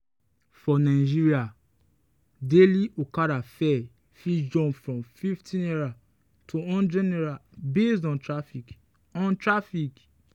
for nigeria daily okada fare fit jump from ₦50 to ₦100 based on traffic. on traffic.